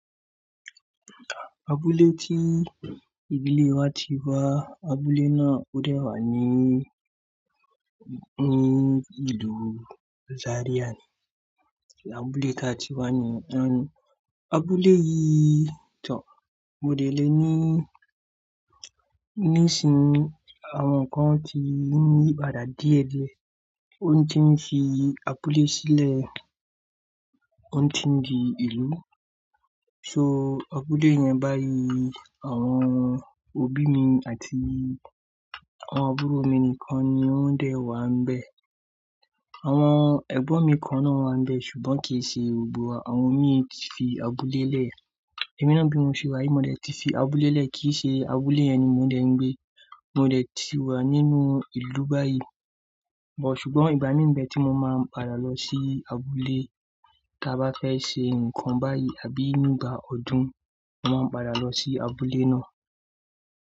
Abúlé tí ìdílé wa ti wá, abúlé náà ó dè wà ní, ní ìlú Zaria ni abúlé ti á ti wá ní ànú. Abúlé yìí to, mo dẹ̀ lé ní, nísin ií àwọn nkan ti n yí padà díẹ̀díẹ̀, o tí ń fi abúlé sílẹ̀, o tí ń di ìlú. So abúlé yẹn báyìí àwọn òbí mi àti àwọn àbúrò mi nìkan ni ó ń dè wà níbẹ̀. Àwọn ẹ̀gbọ́n mi kan náà wà níbẹ̀ ṣùgbọ́n kì í ṣe gbogbo wa, àwọn mii ti fi abúlé lẹ̀. Èmi náà bí mo ṣe wá yìí, mo dẹ̀ ti fi abúlé lẹ̀, kì í ṣe abúlé yẹn ni mo dẹ̀ ń gbé. Mo dẹ̀ ti wà nínú ìlú báyìí, ṣùgbọ́n ìgbà mí mbe tí mo máa padà lọ sí abúlé, tá bá fẹ́ ṣe nǹkan báyìí àbí nígbà ọdún, mo máa n padà lọ sí abúlé náà.